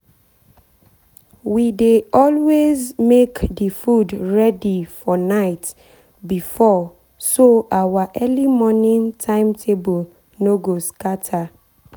we dey always make the food ready for night before so our early morning timetable no go scatter.